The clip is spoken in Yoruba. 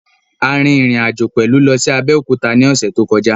A rin rìn àjò pẹ̀lú lọ sí Abẹ́òkúta ní ọ̀sẹ̀ tó kọjá